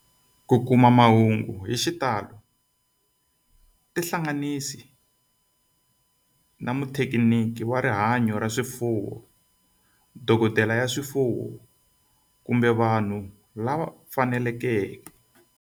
Ku kuma mahungu hi xitalo tihlanganisi na muthekiniki wa rihanyo ra swifuwo, dokodela ya swifuwo, kumbe vanhu van'wana lava fanelekeke.